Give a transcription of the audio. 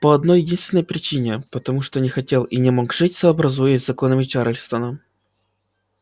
по одной-единственной причине потому что не хотел и не мог жить сообразуясь с законами чарльстона